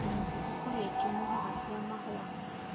Ni kũrĩ angĩ mohaga cia mahua